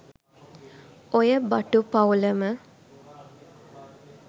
ඔය බටු පවුලම